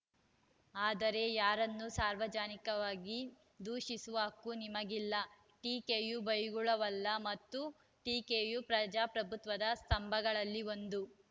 ಆದರೆ ಯಾರನ್ನೂ ಸಾರ್ವಜನಿಕವಾಗಿ ದೂಷಿಸುವ ಹಕ್ಕು ನಿಮಗಿಲ್ಲ ಟೀಕೆಯು ಬೈಗುಳವಲ್ಲ ಮತ್ತು ಟೀಕೆಯು ಪ್ರಜಾಪ್ರಭುತ್ವದ ಸ್ತಂಭಗಳಲ್ಲಿ ಒಂದು